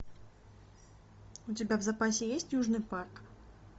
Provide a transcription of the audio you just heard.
у тебя в запасе есть южный парк